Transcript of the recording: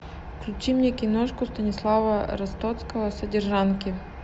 включи мне киношку станислава ростоцкого содержанки